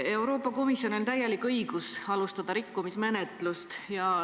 Euroopa Komisjonil on täielik õigus alustada rikkumismenetlust.